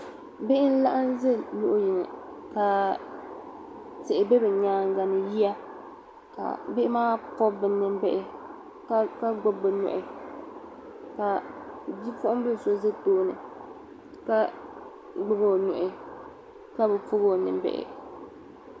Bihi n-laɣim ʒi luɣ' yini ka tihi be bɛ nyaaŋa ni yiya ka bihi maa pɔbi bɛ nimbihi ka gbubi bɛ nuhi ka bipuɣiŋ' bila so za tooni ka gbubi o nuhi ka bi pɔbi o nimbihi